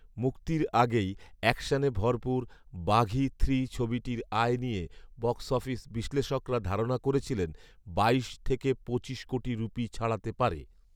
মুক্তির আগেই অ্যাকশনে ভরপুর ‘বাঘি থ্রি’ ছবিটির আয় নিয়ে বক্স অফিস বিশ্লেষকরা ধারণা করেছিলেন বাইশ থেকে পঁচিশ কোটি রুপি ছাড়াতে পারে